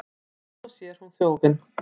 Svo sér hún þjófinn.